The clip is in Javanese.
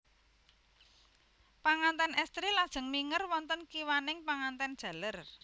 Panganten estri lajeng minger wonten kiwaning panganten jaler